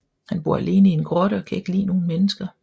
Han bor alene i en grotte og kan ikke lide nogen mennesker